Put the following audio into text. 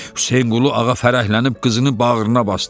Hüseynqulu ağa fərəhlənib qızını bağrına basdı.